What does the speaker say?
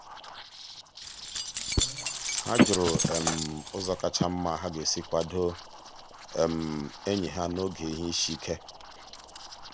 ha jụrụ um ụzọ kacha mma ha ga-esi kwado um enyi ha n'oge ihe isi um ike.